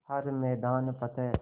हर मैदान फ़तेह